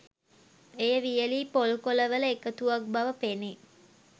එය වියලි පොල් කොල වල එකතුවක් බව පෙනේ.